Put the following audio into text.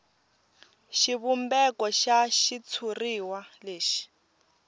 xivumbeko xa xitshuriwa lexi